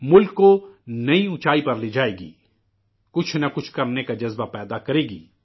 ملک کو نئی بلندی پر لے جائے گی، کچھ نہ کچھ کرنے کا جذبہ پیدا کرے گی